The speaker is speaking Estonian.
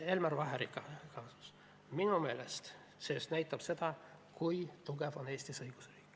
Elmar Vaheri juhtum minu meelest näitab seda, kui tugev on Eestis õigusriik.